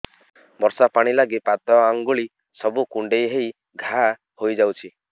ବର୍ଷା ପାଣି ଲାଗି ପାଦ ଅଙ୍ଗୁଳି ସବୁ କୁଣ୍ଡେଇ ହେଇ ଘା ହୋଇଯାଉଛି